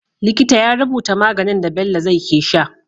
Likita ya rubuta maganin da Bello zai ke sha